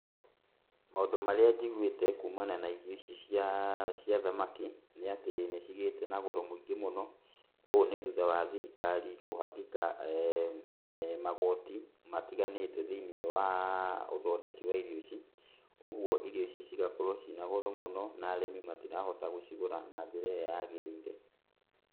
Maũndũ marĩa njiguĩte kumana na irio ici cia, cia thamaki, nĩatĩ nĩcigĩte na goro mũingĩ mũno. Ũũ nĩ thutha wa thirikari kũhagĩka magoti matiganĩte, thĩiniĩ wa ũthondeki wa irio ici, ũoguo irio ici cigakorwo ciĩna goro mũno, na arĩmi matirahota gũcigũra na njĩra ĩrĩa yagĩrĩire.